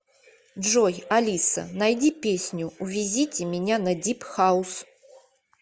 джой алиса найди песню увезите меня на дип хаус